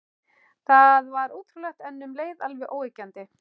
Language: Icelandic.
Þetta var ótrúlegt, en um leið alveg óyggjandi.